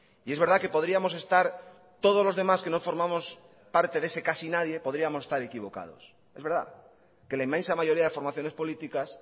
y es verdad que podríamos estar todos los demás que no formamos parte de ese casi nadie podríamos estar equivocados es verdad que la inmensa mayoría de formaciones políticas